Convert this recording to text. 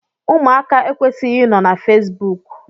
Ụmụaka ekwesighi I nọ na Fesbụụk.